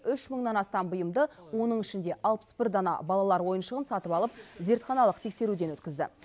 үш мыңнан астам бұйымды оның ішінде алпыс бір дана балалар ойыншығын сатып алып зертханалық тексеруден өткізді